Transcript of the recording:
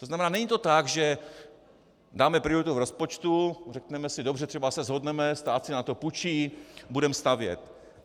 To znamená, není to tak, že dáme prioritu v rozpočtu, řekneme si: Dobře, třeba se shodneme, stát si na to půjčí, budeme stavět.